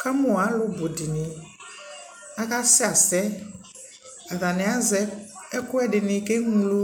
Kɛmu alu bu dι niAka sɛ asɛAtani azɛ ɛkuɛdi ni kɛ ɣlo